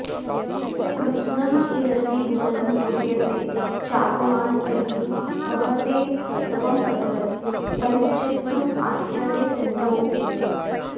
कृत्स्नं व्याप्य स्फुरसि भुवनं मृग्यसे चागमान्तैः कस्ते तत्त्वं प्रभवति परिच्छेत्तुमाश्चर्यसिन्धो